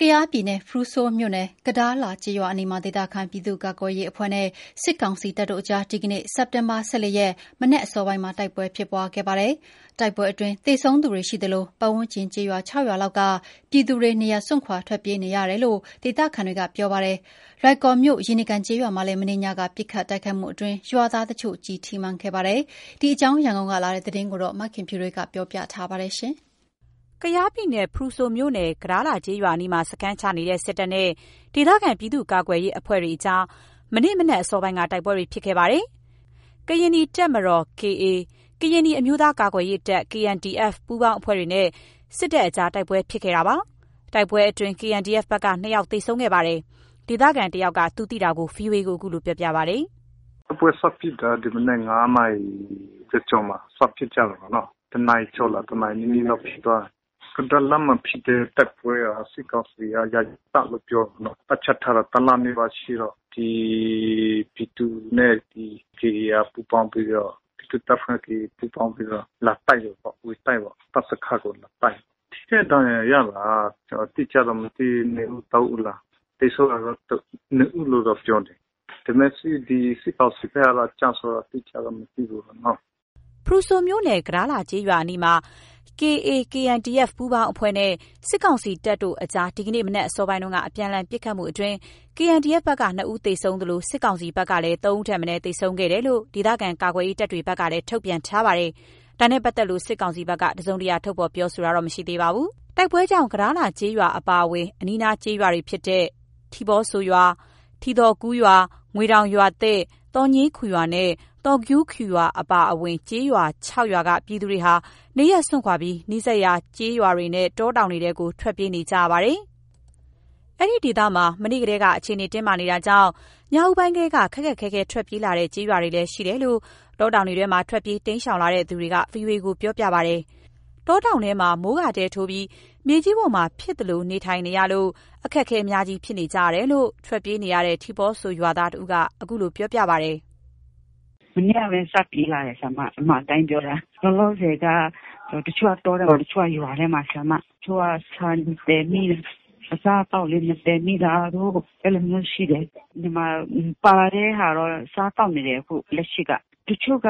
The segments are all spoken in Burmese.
ကယားပြည်နယ် ဖရူဆိုမြို့နယ် ကဒါးလာကျေးရွာအနီးမှာ ဒေသခံပြည်သူ့ကာကွယ်ရေးအဖွဲ့နဲ့ စစ်ကောင်စီစစ်တပ်တို့အကြား ဒီနေ့ စက်တင်ဘာ ၁၄ ရက် မနက်အစောပိုင်းမှာ တိုက်ပွဲဖြစ်ပွားခဲ့ပါတယ်။ တိုက်ပွဲအတွင်း သေဆုံးသူတွေရှိသလို၊ ပါတ်ဝန်းကျင်ကျေးရွာ ၆ ရွာလောက်က ပြည်သူတွေ နေရပ်စွန့်ခွာ ထွက်ပြေးနေကြရတယ်လို့ ဒေသခံတွေက ပြောပါတယ်။ လွိုင်ကော်မြို့နယ် ရေနီကန်ကျေးရွာမှာလည်း မနေ့ညက ပစ်ခတ်တိုက်ခိုက်မှုတွေအတွင်း ရွာသားတချို့ ကျည်ထိမှန်ခဲ့ကြပါတယ်။ ဒီအကြောင်း ရန်ကုန်ကလာတဲ့ သတင်း မခင်ဖြူထွေးပြောပြပါမယ်။ ကယားပြည်နယ် ဖရူဆိုမြို့နယ် ကဒါးလာကျေးရွာအနီးမှာ စခန်းချနေတဲ့ စစ်တပ်နဲ့ ဒေသခံပြည်သူ့ကာကွယ်ရေးအဖွဲ့တွေကြား ဒီနေ့ မနက်အစောက တိုက်ပွဲတွေ ဖြစ်ခဲ့ပါတယ်။ ကရင်နီတပ်မတော် KA ကရင်နီအမျိုးသား ကာကွယ်ရေးတပ် KNDF ပူးပေါင်းအဖွဲ့တွေနဲ့ စစ်တပ်ကြား တိုက်ပွဲဖြစ်ခဲ့တာပါ။ တိုက်ပွဲအတွင်း KNDF ဘက်က ၂ ယောက်သေဆုံးခဲ့ပါတယ်။ ဒေသခံတယောက်က သူသိတာကို VOA ကို အခုလို ပြောပါတယ်။ “တိုက်ပွဲစဖြစ်တာ ဒီမနက် ၅ နာရီကျော်ကျော်မှာ စဖြစ်ကြတာပေါ့နော်၊ တစ်နာရီကျော်လား တစ်နာရီနီးနီးလောက်ဖြစ်သွားတာ၊ ကဒါးလာမှာ ဖြစ်တဲ့ တိုက်ပွဲက စစ်ကောင်စီက ယာယီတပ်လို့ ပြောမှာပေ့ါနော် တပ်ချထားတာ တစ်လနီးပါးရှိတော့ ဒီပြည်သူတွေနဲ့ PDF ပူးပေါင်းပြီးတော့ ဒေသခံနဲ့ပူးပေါင်းပြီးတော့ လာတိုက်တယ်ပေါ့ တပ်စခန်းကို လာတိုက်တာ၊ ထိခိုက်ဒဏ်ရာရတာ ကျနော်တို့ အတိအကျတော့ မသိဘူး ၂ ဦး၊ ၃ ဦးလား။ သေဆုံးတာတော့ ၂ ဦးလို့တော့ ပြောတယ်၊ ဒါပေမယ့် စစ်ကောင်စီဘက်ကတော့ ကျဆုံးမှုတော့ အတိအကျတော့ မသိဘူးပေ့ါနော်။” ဖရူဆိုမြို့နယ် ကဒါးလာကျေးရွာအနီးမှာ KA ၊ KNDF ပူးပေါင်းအဖွဲ့နဲ့ စစ်ကောင်စီစစ်တပ်တို့ကြား ဒီနေ့ မနက်အစောပိုင်း အပြန်အလှန်ပစ်ခတ်မှုမှာ KNDF ဘက်က ၂ ဦးသေဆုံးသလို စစ်ကောင်စီဖက်ကလည်း ၃ ဦး ထက်မနည်း သေဆုံးခဲ့တယ်လို့ ဒေသခံကာကွယ်ရေးတပ်တွေဘက်ကလည်း ထုတ်ပြန်ထားပါတယ်။ ဒါနဲ့ပါတ်သက်လို့ စစ်ကောင်စီဘက်က တစုံတရာ ထုတ်ဖော်ပြောခြင်း မရှိသေးပါဘူး။ တိုက်ပွဲကြောင့် ကဒါးလာကျေးရွာအပါအဝင် အနီးအနားကျေးရွာတွေဖြစ်တဲ့ ထီပေါဆိုရွာ၊ ထီသော်ကူးရွာ၊ ငွေတောင်ရွာသစ်၊ သော်ညေးခူရွာနဲ့သော်ဂူးခူရွာ စုစုပေါင်း ကျေးရွာ ၆ ရွာက ပြည်သူတွေဟာ နေရပ်စွန့်ခွာ နီးစပ်ရာကျေးရွာနဲ့ တောတောင်ထဲကို ထွက်ပြေးကြရပါတယ်။ အဲ့ဒီဒေသမှာ မနေ့ကတည်းက အခြေအနေတင်းမာနေတာကြောင့် ညဦးပိုင်းကတည်းက ခက်ခက်ခဲခဲထွက်ပြေးလာတဲ့ ကျေးရွာတွေလည်း ရှိတယ်လို့ တောတောင်ထဲထွက်ပြေး တိမ်းရှောင်လာတဲ့ သူတွေက VOA ကို ပြောပါတယ်။ တောတောင်ထဲမှာ မိုးကာတဲထိုးပြီး မြေကြီးပေါ်မှာ ဖြစ်သလိုနေထိုင်နေကြရလို့ အခက်အခဲအများကြီးဖြစ်နေကြတယ်လို့ ထွက်ပြေးနေရတဲ့ ထီပေါဆိုရွာသား တစ်ဦးက အခုလို ပြောပါတယ်။ “မနေ့ကပဲ စပြေးလာတယ် အမှန်အတိုင်းပြောတာ၊ လောလောဆယ်က တချို့က တောထဲမှာ ၊တချို့က ရွာထဲမှာ တချို့က ဆန်မသယ်မိဘူး။ အစားအသောက်လည်း မသယ်မိတာတို့ အဲ့လိုမျိုးရှိတယ်၊ ဒီမှာပါတဲ့ဟာတော့ စားသောက်နေတယ်။ အခုလက်ရှိက တချို့က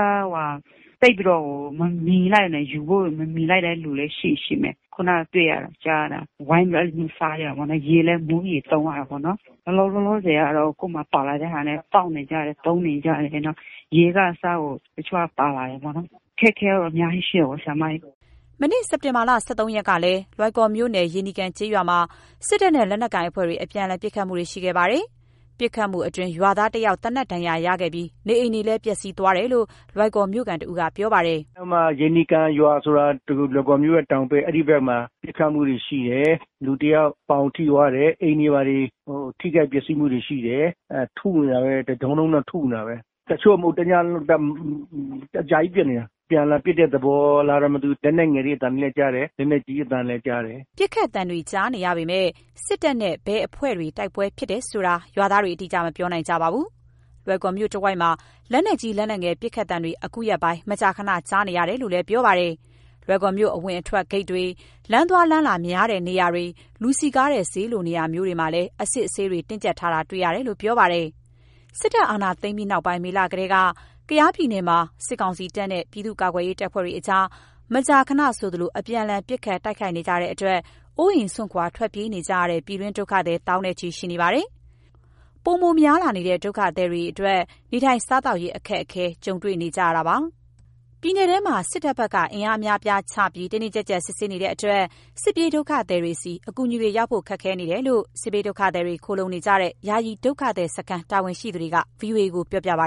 သိပ်ပြီးမမီလိုက်ဘူး ယူဖို့ မမီလိုက်တဲ့လူလည်း ရှိမယ်။ ခုနက တွေ့ရတာ ကြားရတာ ဝိုင်းပြီးတော့ အဲ့လိုမျိုးစားရတာပေါ့နော်၊ ရေလည်း မိုးရေသုံးရတာပေါ့နော်၊ လောလောဆယ်ကတော့ ကိုယ့်မှာ ပါလာတဲ့ဟာနဲ့ စားသောက်နေကြတယ်၊ သုံးနေကြတယ် နောက် ရေက တချို့က ပါပါတယ်ပေါ့နော်။ အခက်အခဲကတော့ အများကြီးရှိတာပေ့ါ။” မနေ့ စက်ဘာတင် ၁၃ ရက်ကလည်း လွိုင်ကော်မြို့နယ် ရေနီကန်ကျေးရွာမှာ စစ်တပ်နဲ့ လက်နက်ကိုင်အဖွဲ့တွေ အပြန်အလှန်ပစ်ခတ်မှုတွေရှိခဲ့ပါတယ်။ ပစ်ခတ်မှုအတွင်း ရွာသားတယောက် သေနတ်ဒဏ်ရာရခဲ့ပြီး နေအိမ်တွေလည်း ပျက်စီးခဲ့တယ်လို့ လွိုင်ကော်မြို့ခံတစ်ဦးက ပြောပါတယ်။ “အဲ့မှာ ရေနီကန်ရွာဆိုတာ လွိုင်ကော်မြို့ရဲ့ တောင်ဘက် အဲ့ဒီဖက်မှာ ပစ်ခတ်မှုတွေ ရှိတယ်၊ လူတစ်ယောက် ပေါင်ထိသွားတယ်၊ အိမ်တွေ ဘာတွေထိခိုက်ပျက်စီးမှုတွေ ရှိတယ်၊ ထုနေတာပဲ တဒုန်းဒုန်းနဲ့ ထုနေတာပဲ၊ တချို့မဟုတ်ဘူး တစ်ညလုံးသလို အကြာကြီးပစ်နေတာ အပြန်အလှန်ပစ်တဲ့သဘောလားတော့ မသိဘူး လက်ငယ်တွေ အသံတွေလည်း ကြားတယ် လက်နက်ကြီးအသံလည်း ကြားတယ်။” ပစ်ခတ်သံတွေကြားနေရပေမဲ့ စစ်တပ်နဲ့ ဘယ်အဖွဲ့တွေ တိုက်ပွဲဖြစ်တယ်ဆိုတာ ရွာသားတွေ အတိအကျ မပြောနိုင်ကြပါဘူး။ လွိုင်ကော်မြို့တစ်ဝိုက်မှာ လက်နက်ကြီး လက်နက်ငယ် ပစ်ခတ်သံတွေ အခုရက်ပိုင်း မကြာခဏ ကြာနေရတယ်လို့လည်း ပြောကြပါတယ်။ လွိုင်ကော်မြို့အဝင်အထွက်ဂိတ်တွေ လမ်းသွားလမ်းလာများတဲ့နေရာတွေ လူစည်းကားတဲ့ ဈေးလိုနေရာမျိုးတွေ အစစ်အဆေးလည်း တင်းကြပ်ထားတာတွေ့ရတယ်လို့ ပြောပါတယ်။ စစ်တပ်အာဏာသိမ်းပြီးနောက်ပိုင်း မေလကတည်းက ကယားပြည်နယ်မှာ စစ်ကောင်စီတပ်နဲ့ ပြည်သူ့ကာကွယ်ရေးတပ်ဖွဲ့တွေကြား မကြာမကြာ အပြန်အလှန် ပစ်ခတ်တိုက်ခိုက်နေကြတဲ့အတွက် အိုးအိမ်စွန့် ထွက်ပြေးနေကြရတဲ့ ပြည်တွင်းဒုက္ခသည် သောင်းနဲ့ ချီရှိနေပါတယ်။ ပိုပြီးများလာတဲ့ ဒုက္ခသည်တွေအနေနဲ့ နေထိုင် စားသောက်ရေး အခက်အခဲနဲ့ ကြုံတွေနေကြရပါတယ်။ ပြည်နယ်ထဲမှာ စစ်တပ်ဘက်က အင်အားအများအပြားချပြီး တင်းတင်းကြပ်ကြပ် စစ်ဆေးနေတဲ့အတွက် စစ်ပြေးဒုက္ခသည်တွေဆီ အကူအညီတွေ ရောက်ဖို့ ခက်ခဲနေတယ်လို့ စစ်ဘေးဒုက္ခသည်တွေခိုလှုံနေကြတဲ့ ယာယီဒုက္ခသည်စခန်းတာဝန်ရှိသူတွေက VOA ကို ပြောကြပါ